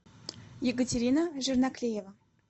екатерина жирноклеева